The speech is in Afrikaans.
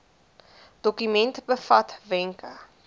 dokument bevat wenke